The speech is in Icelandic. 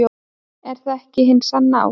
Er það ekki hin sanna ást?